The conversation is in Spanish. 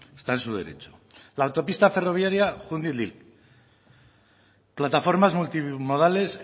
está en su derecho la autopista ferroviaria júndiz plataformas multimodales